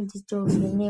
ngatiende kovhenekwa.